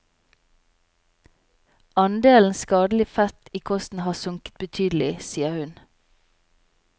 Andelen skadelig fett i kosten har sunket betydelig, sier hun.